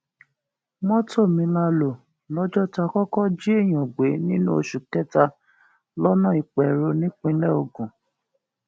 mọtò mi la lò lọjọ tá a kọkọ jí èèyàn gbé nínú oṣù kẹta lọnà ìpẹrù nípínlẹ ogun